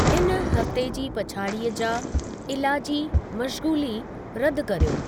हिन हफ़्ते जी पछाड़ीअ जा इलाजी मशग़ूली रद्द करियो।